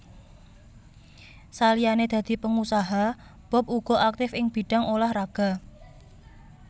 Saliyané dadi pengusaha Bob uga aktif ing bidang ulah raga